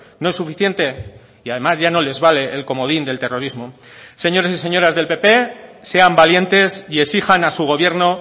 no es suficiente y además ya no les vale el comodín del terrorismo señores y señoras del pp sean valientes y exijan a su gobierno